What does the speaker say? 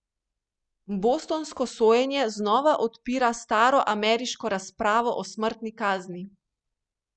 Bostonsko sojenje znova odpira staro ameriško razpravo o smrtni kazni.